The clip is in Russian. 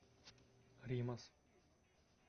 римас